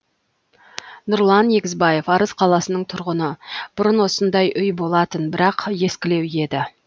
нұрлан егізбаев арыс қаласының тұрғыны бұрын осындай үй болатын бірақ ескілеу еді